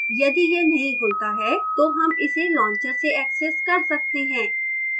यदि यह नहीं खुलता है तो हम इसे launcher से access कर सकते हैं